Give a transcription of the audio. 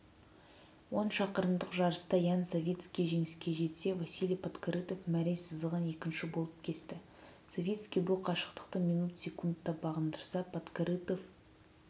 он шақырымдық жарыста ян савицкий жеңіске жетсе василий подкорытов мәре сызығын екінші болып кесті савицкий бұл қашықтықты минут секундта бағындырса подкорытов